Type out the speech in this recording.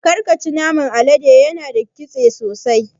Karka ci naman alade yana da ƙitse sosai.